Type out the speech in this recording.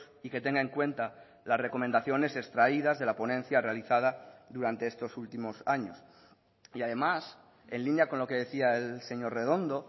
y que tenga en cuenta las recomendaciones extraídas de la ponencia realizada durante estos últimos años y además en línea con lo que decía el señor redondo